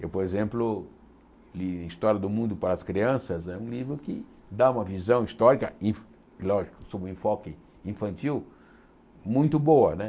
Eu, por exemplo, li História do Mundo para as Crianças né, um livro que dá uma visão histórica, e lógico, sob um enfoque infantil, muito boa.